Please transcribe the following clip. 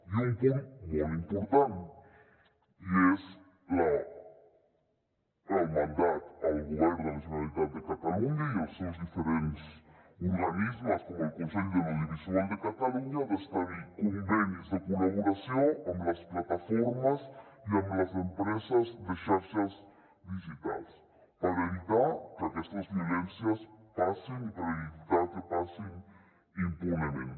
i un punt molt important i és el mandat al govern de la generalitat de catalunya i els seus diferents organismes com el consell de l’audiovisual de catalunya el d’establir convenis de col·laboració amb les plataformes i amb les empreses de xarxes digitals per evitar que aquestes violències passin i per evitar que passin impunement